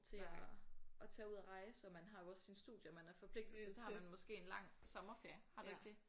Til at at tage ud og rejse og man har jo også sine studier man er forpligtet til så har man måske en lang sommerferie har du ikke det?